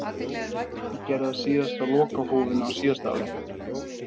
Ég gerði það síðast á lokahófinu á síðasta ári.